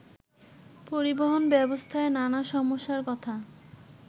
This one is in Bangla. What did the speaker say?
পরিবহন ব্যবস্থার নানা সমস্যার কথা